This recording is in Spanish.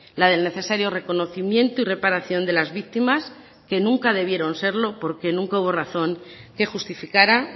la del necesario reconocimiento y reparación de las víctimas que nunca debieron serlo porque nunca hubo razón que justificara